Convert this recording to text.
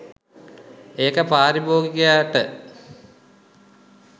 ඒක පාරිභෝගිකයට